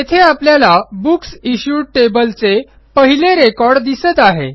येथे आपल्याला books issued table चे पहिले रेकॉर्ड दिसत आहे